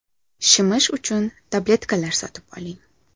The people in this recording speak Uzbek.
Shimish uchun tabletkalar sotib oling.